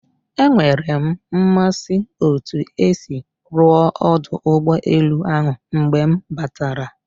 Enwere m mmasị otu esi rụọ ọdụ ụgbọ elu ahụ mgbe m batara